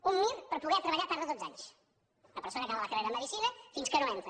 un mir per poder treballar tarda dotze anys una persona que acaba la carrera de medicina fins que no entra